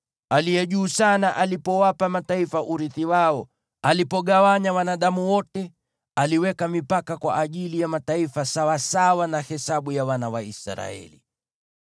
Aliye Juu Sana alipowapa mataifa urithi wao, alipogawanya wanadamu wote, aliweka mipaka kwa ajili ya mataifa sawasawa na hesabu ya wana wa Israeli.